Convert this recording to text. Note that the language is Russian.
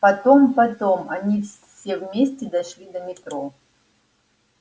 потом потом они все вместе дошли до метро